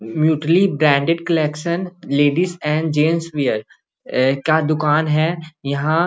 म्युटली branded collection ladies and gents wear ए का दुकान है यहां।